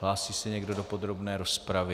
Hlásí se někdo do podrobné rozpravy?